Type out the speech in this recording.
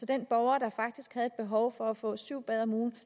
den borger der faktisk havde behov for at få syv bade om ugen